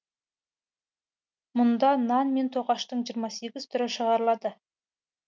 мұнда нан мен тоқаштың жиырма сегіз түрі шығарылады